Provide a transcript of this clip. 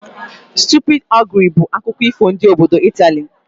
Stupid ogre' bụ akụkọ ifo ndị obodo Italy